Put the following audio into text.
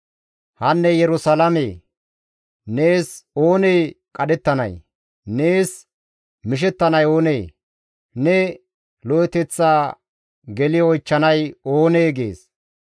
«Hanne Yerusalaamee! Nees oonee qadhettanay? Nees mishettanay oonee? Ne lo7eteththa geli oychchanay oonee?» gees.